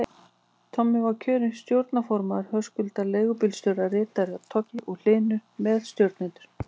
Tommi var kjörinn stjórnarformaður, Höskuldur leigubílstjóri ritari, Toggi og Hlynur meðstjórnendur.